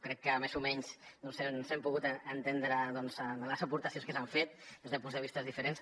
crec que més o menys ens hem pogut entendre en les aportacions que s’han fet des de punts de vista diferents